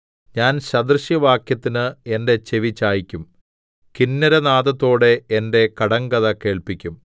ഞാൻ സദൃശവാക്യത്തിന് എന്റെ ചെവിചായിക്കും കിന്നരനാദത്തോടെ എന്റെ കടങ്കഥ കേൾപ്പിക്കും